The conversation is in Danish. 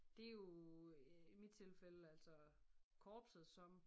Det jo øh i mit tilfælde altså korpset som